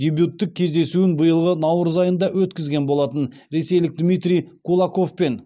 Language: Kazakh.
дебюттік кездесуін биылғы наурыз айында өткізген болатын ресейлік дмитрий кулаковпен